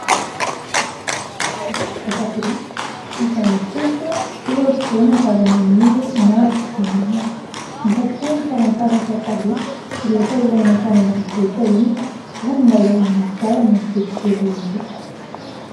Trano vita biriky izay mitoetra eo afovoana zavamaniry maro dia maro ; mampahatsiahy ny fialan-tsasatra taloha rehefa ilay mankany ambanivohitra iny ary milalao anaty ala ny ankizy kely rehetra.